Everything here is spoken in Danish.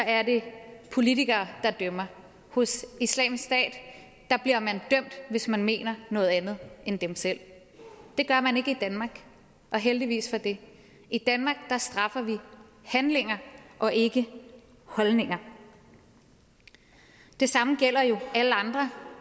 er det politikere der dømmer hos islamisk stat bliver man dømt hvis man mener noget andet end dem selv det gør man ikke i danmark og heldigvis for det i danmark straffer vi handlinger og ikke holdninger det samme gælder jo alle andre